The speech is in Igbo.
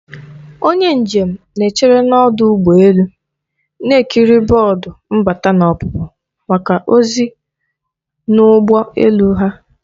Onye njem na-echere n'ọdụ ụgbọ elu, na-ekiri bọọdụ mbata na ọpụpụ maka ozi n'ụgbọ elu ha